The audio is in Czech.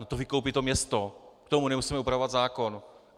No to vykoupí to město, k tomu nemusíme upravovat zákon.